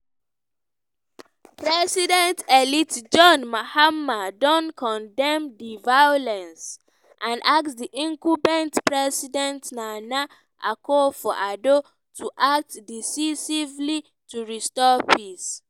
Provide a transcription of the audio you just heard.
president-elect john mahama don condemn di violence and ask di incumbent president nana akufo addo to 'act decisively' to restore peace.